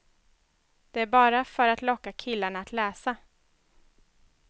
Det är bara för att locka killarna att läsa.